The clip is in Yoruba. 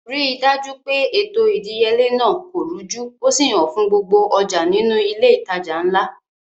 Ri dájú pé ètò ìdíyelé náà kò rújú ó sì hàn fún gbogbo ọjà nínú ilé ìtajà ńlá